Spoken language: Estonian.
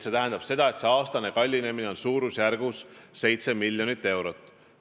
See tähendab seda, et aastane kallinemine on suurusjärgus 7 miljonit eurot.